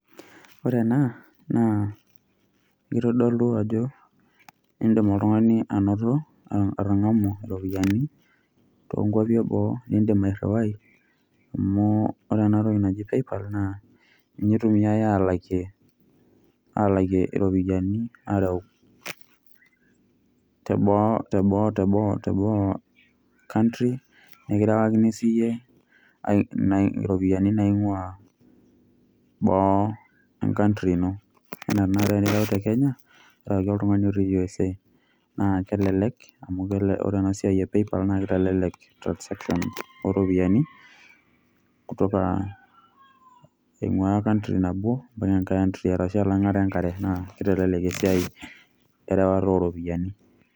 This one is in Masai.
Ore ena, naa kitodolu ajo idim oltung'ani anoto atang'amu iropiyiani tonkwapi eboo, nidim airriwai amu ore enatoki naji PayPal, naa ninye itumiai alakie alakie iropiyiani areu teboo country, nekirewakini siyie iropiyiani naing'ua boo e country ino. Anaa tanakata tenireu te Kenya, arewaki oltung'ani otii USA. Naa kelelek, amu ore enasiai e PayPal, naa kitelelek transaction oropiyiani, kutoka ing'ua country nabo,o tenkae antri. Arashu elang'ata enkare, naa kitelelek esiai erewata oropiyiani.